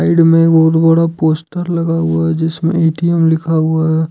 मे बहुत बड़ा पोस्टर लगा हुआ है जिसमें ए_टी_एम लिखा हुआ है।